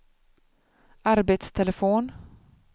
arbetstelefon